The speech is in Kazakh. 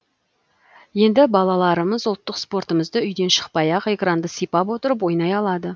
енді балаларымыз ұлттық спортымызды үйден шықпай ақ экранды сипап отырып ойнай алады